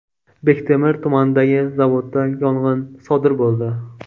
Bektemir tumanidagi zavodda yong‘in sodir bo‘ldi.